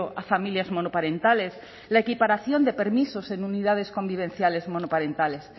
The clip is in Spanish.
a familias monoparentales la equiparación de permisos en unidades convivenciales monoparentales